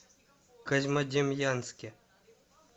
козьмодемьянске